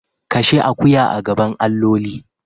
Kashe akuya a gaban alloli.